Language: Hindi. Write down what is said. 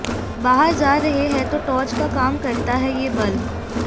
बाहर जा रहे हैं तो टॉर्च का काम करता है ये बल्ब